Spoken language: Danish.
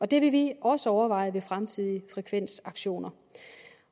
det vil vi også overveje ved fremtidige frekvensaktioner